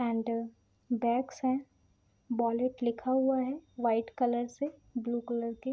and desk है wallet लिखा हुआ है वाइट कलर से ब्लू कलर के --